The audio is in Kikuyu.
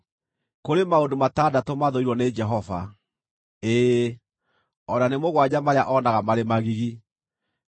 Kũrĩ maũndũ matandatũ mathũirwo nĩ Jehova, ĩĩ, o na nĩ mũgwanja marĩa onaga marĩ magigi, nĩmo: